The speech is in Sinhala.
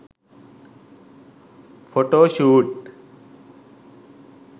photo shoot